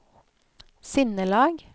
sinnelag